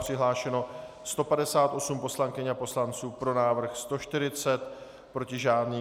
Přihlášeno 158 poslankyň a poslanců, pro návrh 140, proti žádný.